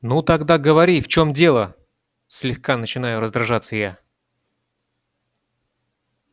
ну тогда говори в чём дело слегка начинаю раздражаться я